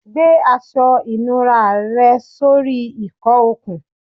Gbe aṣọ ìnura rẹ sori ìkọ okun